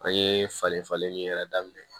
An ye falen falen min yɛrɛ daminɛ